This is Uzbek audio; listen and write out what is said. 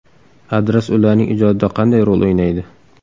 Adras ularning ijodida qanday rol o‘ynaydi?